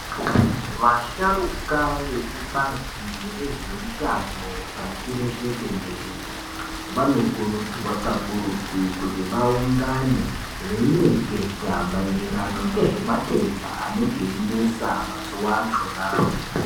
Vasharuka vekubazi rezvehutano pasi rese tenderere, vanokurudzirwa kakurutu kuti vaungane veireketa maererano ngezvematenda anenge einesa mazuva achonawo.